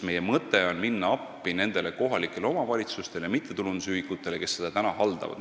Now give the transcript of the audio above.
Meie mõte on minna appi kohalikele omavalitsustele ja mittetulundusühingutele, kes neid praegu haldavad.